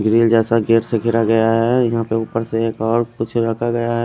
Grill जेसा gate सा गेरा गया है और यहा उपर से एक और कुछ रखा गया है।